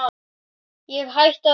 Ég hætti að vinna í